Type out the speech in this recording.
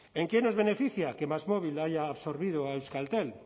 en qué nos beneficia que másmóvil haya absorbido a euskaltel